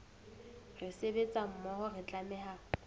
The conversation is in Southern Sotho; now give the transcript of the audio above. re sebetsa mmoho re tlameha